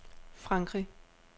Frankrig